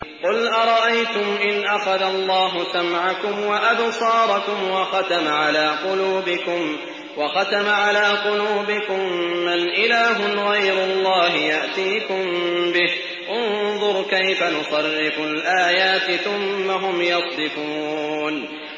قُلْ أَرَأَيْتُمْ إِنْ أَخَذَ اللَّهُ سَمْعَكُمْ وَأَبْصَارَكُمْ وَخَتَمَ عَلَىٰ قُلُوبِكُم مَّنْ إِلَٰهٌ غَيْرُ اللَّهِ يَأْتِيكُم بِهِ ۗ انظُرْ كَيْفَ نُصَرِّفُ الْآيَاتِ ثُمَّ هُمْ يَصْدِفُونَ